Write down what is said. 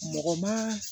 Mɔgɔ ma